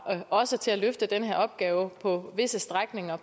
også til at løfte den her opgave på visse strækninger